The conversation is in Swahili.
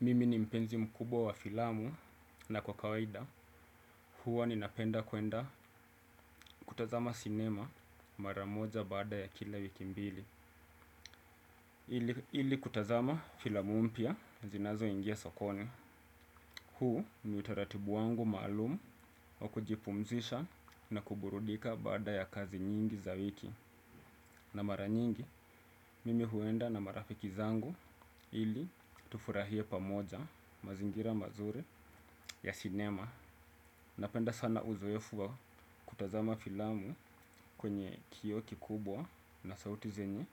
Mimi ni mpenzi mkubwa wa filamu na kwa kawaida huwa ninapenda kuenda kutazama cinema mara moja baada ya kila wiki mbili. Ili kutazama filamu mpya zinazoingia sokoni. Huu ni utaratibu wangu maalumu wa kujipumzisha na kuburudika baada ya kazi nyingi za wiki. Na mara nyingi, mimi huenda na marafiki zangu ili tufurahie pamoja mazingira mazuri ya cinema. Napenda sana uzoefu kutazama filamu kwenye kioo kubwa na sauti zenye